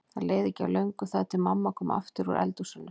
Það leið ekki á löngu þar til mamma kom aftur úr eldhúsinu.